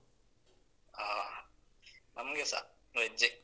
ಹಾ ನಮ್ಗೆಸ veg ಜ್ಜೆ.